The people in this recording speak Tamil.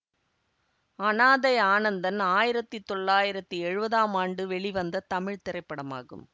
அனாதை ஆனந்தன் ஆயிரத்தி தொள்ளாயிரத்தி எழுவதாம் ஆண்டு வெளிவந்த தமிழ் திரைப்படமாகும்